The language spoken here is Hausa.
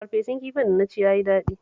Farfesun kifin da na ci ya yi daɗi